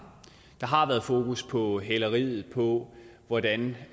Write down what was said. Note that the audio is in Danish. der har været fokus på hæleriet og på hvordan